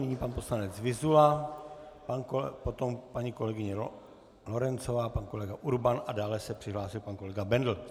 Nyní pan poslanec Vyzula, potom paní kolegyně Lorencová, pan kolega Urban a dále se přihlásil pan kolega Bendl.